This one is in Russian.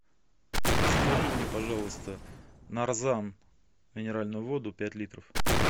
закажи мне пожалуйста нарзан минеральную воду пять литров